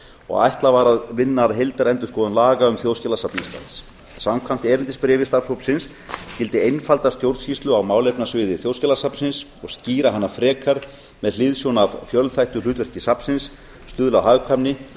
og ætlað var að vinna að heildarendurskoðun laga um þjóðskjalasafn íslands samkvæmt erindisbréfi starfshópsins skyldi einfalda stjórnsýslu á málefnasviði þjóðskjalasafnsins og skýra hana frekar með hliðsjón af fjölþættu hlutverki safnsins stuðla að hagkvæmni og